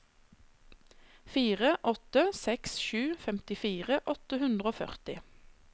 fire åtte seks sju femtifire åtte hundre og førti